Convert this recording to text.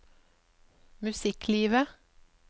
musikklivet